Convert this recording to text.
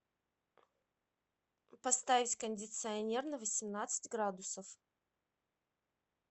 поставить кондиционер на восемнадцать градусов